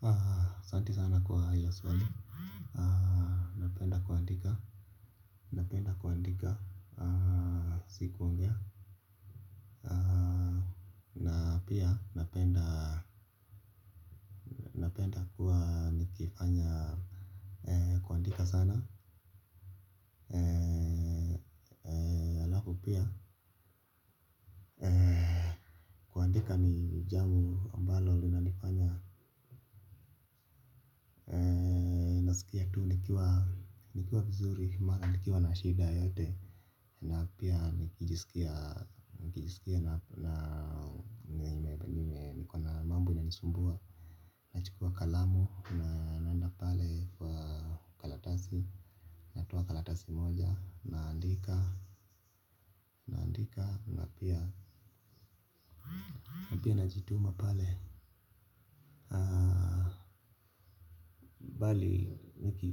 Haa Santi sana kwa hiyo swali. Haa napenda kuandika. Napenda kuandika. Haa siku wongaa na pia napenda napenda kufanya kuandika sana. Njambo ambalo lina nasikia tu nikiwa nikiwa vizuri maana nikiwa na shida yoyote na pia nikijisikia nikijisikia na niko na mambo inanisumbua nachukua kalamu na naenda pale kwa karatasi natoa karatasi moja naandika naandika na pia, na pia najituma pale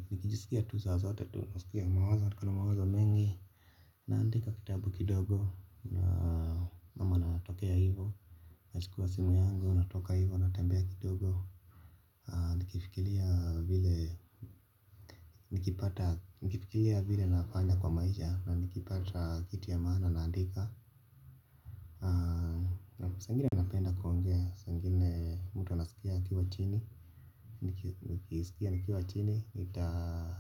nikijisikia tu saa zote tu nasikia mawazo niko na mawazo mengi. Naandika kitabu kidogo ama natokea hivyo nachukua simu yangu, natoka hivyo, natembea kidogo nikifikiria vile nikipata, nikifikiria vile nafanya kwa maisha na nikipata kitu ya maana naandika. Naam saa ingine napenda kuongea saa ingine mtu anasikia akiwa chini, nikisikia nikiwa chini nita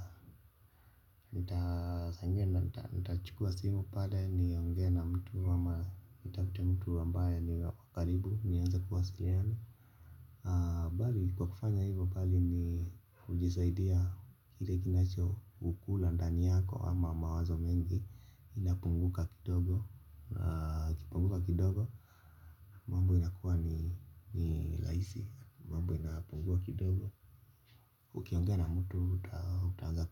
saa ingine nitachukua simu pale niongee na mtu ama nitafute mtu ambaye ako karibu nianze kuwasiliana bali kwa kufanya hivyo, bali ni hujisaidia kile kinacho kukula ndani yako ama mawazo mengi inapunguka kidogo, ikipunguka kidogo mambo inakuwa ni rahisi mambo inapungua kidogo ukiongea na mtu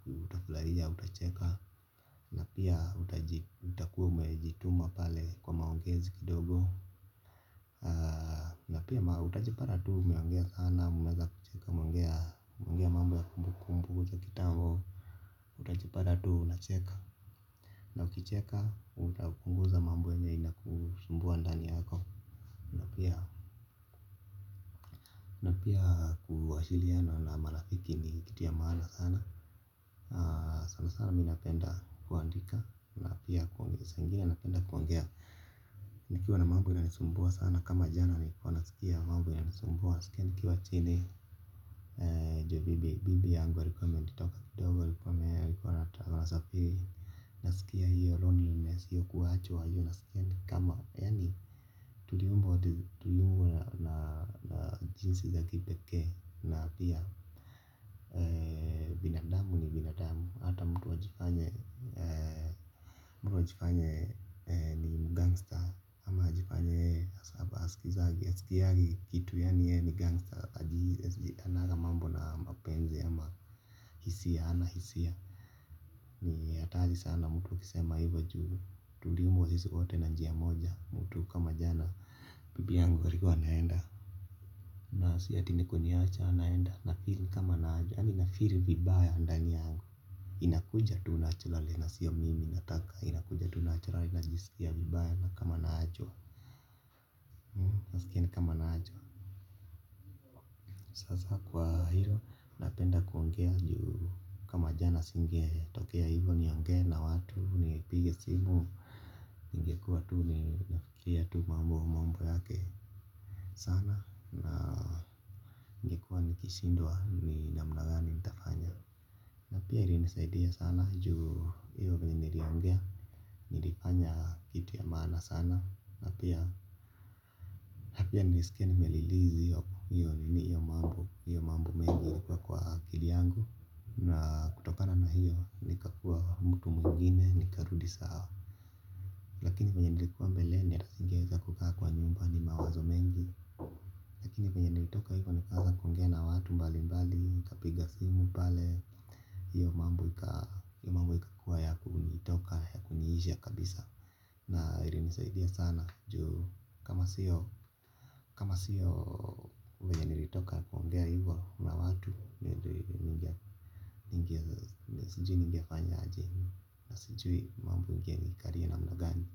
utafurahia utacheka na pia utakuwa umejituma pale kwa maongezi kidogo na pia utajipata tu umeongea sana umeanza kucheka umeongea mambo ya kumbukumbu za kitambo utajepata tu unacheka na ukicheka utapunguza mambo yenye inakusumbua ndani yako na pia na pia kuwasiliana na marafiki ni kitu ya maana sana sana sana mimi napenda kuandika na pia kuongea saa ingine napenda kuongea nikiwa na mambo inanisumbua sana kama jana nilikuwa nasikia mambo inanisumbua nasikia nikiwa chini juu bibi yangu alikuwa ametoka kidogo alikuwa anasafiri nasikia hiyo loneliness hiyo kuachwa hiyo nasikia ni kama yaani tuliumbwa na jinsi za kipekee na pia binadamu ni binadamu hata mtu ajifanye mtu ajifanye ni mgangster ama ajifanye hasikiangi kitu yaani yeye ni gangster hananga mambo na mapenzi ama hisia hana hisia. Ni hatari sana mtu ukisema hivyo juu tuliumbwa sisi wote na njia moja mtu kama jana bibi yangu alikuwa anaenda. Na si ati ni kuniacha anaenda nafeel ni kama yaani nafeel vibaya ndani yangu. Inakuja tu naturally na siyo mimi nataka inakuja tu naturally najiskia vibaya nasikia ni kama naachwa sasa kwa hilo napenda kuongea juu kama jana singetokea hivyo niongee na watu nipige simu ningekuwa tu nafikiria tu mambo yake sana na ningekuwa nikishindwa ni namna gani nitafanya na pia ilinisaidia sana juu hiyo vile niliongea nilifanya kitu ya maana sana na pia na pia nilisikia nimerelease hiyo hiyo nini hiyo mambo hiyo mambo mengi ilikuwa kwa akili yangu na kutokana na hiyo nikakuwa mtu mwingine nikarudi sawa lakini vyenye nilikuwa mbeleni hata singeweza kukaa kwa nyumba ni mawazo mengi lakini vyenye nilitoka hivyo nikaanza kuongea na watu mbalimbali nikapiga simu pale hiyo mambo ikakuwa ya kunitoka ya kuniisha kabisa na ilinisaidia sana juu kama siyo kama siyo vyenye nilitoka kuongea hivyo na watu sijui ningefanya aje na sijui mambo ingenikalia namna gani.